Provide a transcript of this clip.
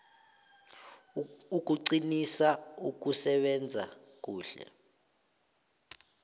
ukuqinisa ukusebenza kuhle